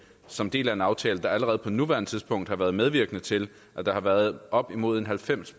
som del af en aftale der allerede på nuværende tidspunkt har været medvirkende til at der har været op imod en halvfems